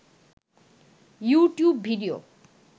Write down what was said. YouTube video